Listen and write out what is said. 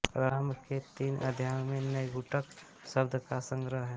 प्रारंभ के तीन अध्यायों में नैघंटुक शब्दों का संग्रह है